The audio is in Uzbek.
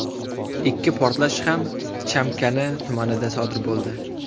Ikki portlash ham Chamkani tumanida sodir bo‘ldi.